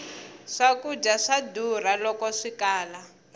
swkudya swa durha loko swikala